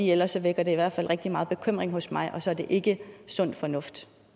ellers vækker det i hvert fald rigtig meget bekymring hos mig og så er det ikke sund fornuft